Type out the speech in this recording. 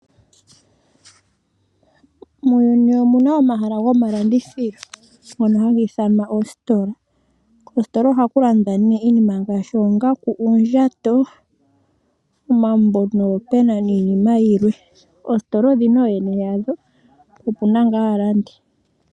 Muuyuni omu na omahala gomalandithilo ngono haga ithanwa oositola. Koositola ohaku landwa nee iinima ngaashi oongaku, uundjato, omambo noopena niinima yilwe. Oositola odhi na ooyene yadho po opu na ngaa aalandi.